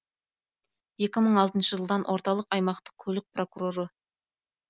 екі мың алтыншы жылдан орталық аймақтық көлік прокуроры